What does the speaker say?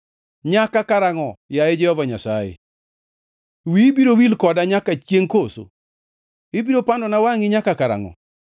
Nyaka karangʼo, yaye Jehova Nyasaye? Wiyi biro wil koda nyaka chiengʼ koso? Ibiro pandona wangʼi nyaka karangʼo?